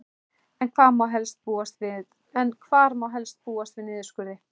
En hvar má helst búast við niðurskurði?